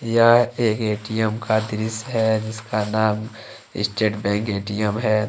यह एक ए_टी_म का दृश्य है जिसका नाम स्टेट बैंक ए_टी_एम है।